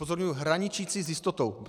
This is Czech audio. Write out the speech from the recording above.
Upozorňuji hraničící s jistotou.